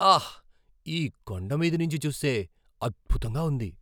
ఆహ్! ఈ కొండమీద నుంచి చూస్తే అద్భుతంగా ఉంది.